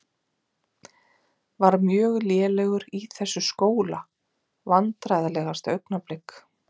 Var mjög lélegur í þessu skóla Vandræðalegasta augnablik?